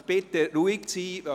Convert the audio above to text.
Ich bitte Sie, ruhig zu sein.